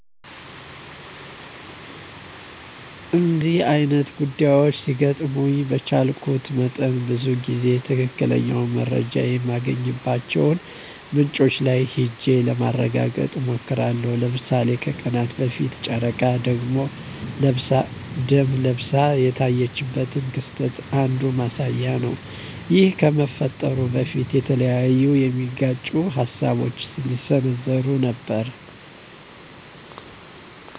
እነደዚህ አይነት ጉዳዮች ሲገጥሙኝ በቻልኩት መጠን ብዙ ጊዜ ትክክለኛ መረጃ የማገኝባቸውን ምንጮች ላይ ሂጀ ለማረጋገጥ እሞክራለሁ። ለምሳሌ ከቀናት በፊት ጨረቃ ደም ለብሳ የታየችበት ክስተት አንዱ ማሳያ ነው ይህ ከመፈጠሩ በፊት የተለያዩ የሚጋጩ ሀሳቦች ሲዘነዘሩ ነበረ።